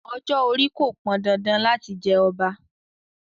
Ọjọ́-orí kò pọn dandan láti jẹ ọba.